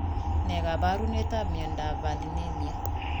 Nee kaparunoik ap miondap valinemia